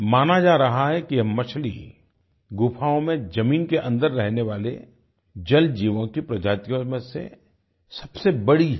माना जा रहा है कि यह मछली गुफाओं में जमीन के अन्दर रहने वाले जलजीवों की प्रजातियों में से सबसे बड़ी है